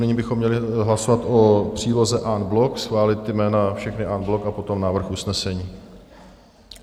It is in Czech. Nyní bychom měli hlasovat o příloze en bloc, schválit ta jména všechna en bloc a potom návrh usnesení.